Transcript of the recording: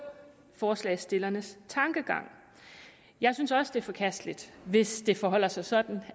forslagsstillernes tankegang jeg synes også det er forkasteligt hvis det forholder sig sådan